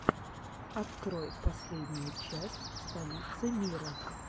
открой последнюю часть столицы мира